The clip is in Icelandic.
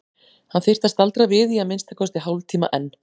Hann þyrfti að staldra við í að minnsta kosti hálftíma enn.